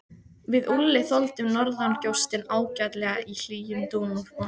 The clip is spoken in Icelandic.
Við Úlli þoldum norðangjóstinn ágætlega í hlýjum dúnúlpunum.